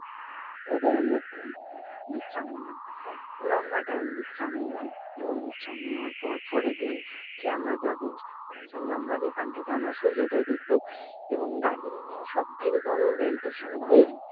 তারপর আমরা একটু বিশ্রাম নিলাম। লম্বা time বিশ্রাম নিলাম এবং বিশ্রাম নেওয়ার পর পরের দিন কে আমরা যাবো কাঞ্চনজঙ্ঘা যেখান থেকে আমরা সূর্যোদয় দেখবো এবং দার্জিলিং-এ সব থেকে বড় rail station ঘুম